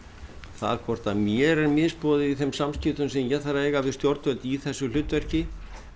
það hvort að mér er misboðið í þeim samskiptum sem ég þarf að eiga við stjórnvöld í þessu hlutverki